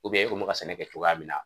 e kun mɛ ka sɛnɛ kɛ cogoya min na.